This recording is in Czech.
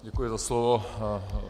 Děkuji za slovo.